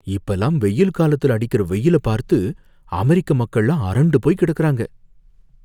இப்பலாம் வெயில்காலத்துல அடிக்குற வெயில பார்த்து அமெரிக்க மக்கள்லாம் அரண்டு போய் கிடக்கறாங்க